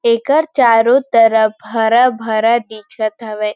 एकर चारो तरफ हरा-भरा दिखत हवे।